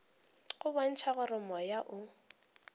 go bontšha gore moya o